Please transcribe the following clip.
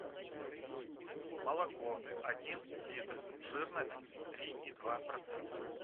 молоко один литр жирность три и два процента